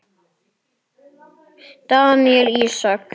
Daníel Ísak.